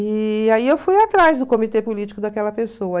E aí eu fui atrás do comitê político daquela pessoa.